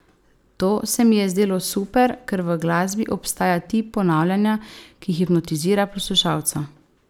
To se mi je zdelo super, ker v glasbi obstaja tip ponavljanja, ki hipnotizira poslušalca.